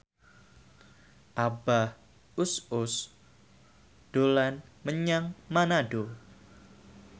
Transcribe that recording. Abah Us Us dolan menyang Manado